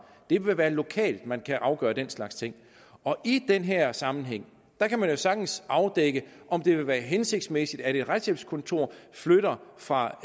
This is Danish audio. det vil være lokalt at man kan afgøre den slags ting i den her sammenhæng kan man jo sagtens afdække om det vil være hensigtsmæssigt at et retshjælpskontor flytter fra